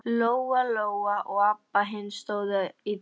Lóa-Lóa og Abba hin stóðu í dyrunum.